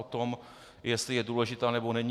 O tom, jestli je důležitá, nebo není.